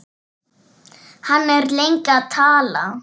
Hann er lengi að tala.